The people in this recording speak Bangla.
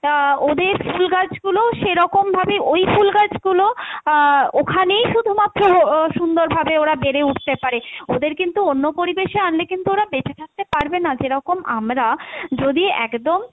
আহ ওদের ফুল গাছ গুলোও সেরকম ভাবে ওই ফুল গাছগুলোও আহ ওখানেই শুধুমাত্র আহ সুন্দর ভাবে ওরা বেড়ে উঠতে পারে, ওদের কিন্তু অন্য পরিবেশে আনলে কিন্তু ওরা বেচেঁ থাকতে পারবে না, যেরকম আমরা যদি একদম